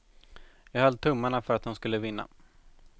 Jag höll tummarna för att hon skulle vinna.